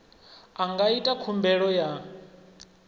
a nga ita khumbelo ya